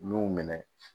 U y'u minɛ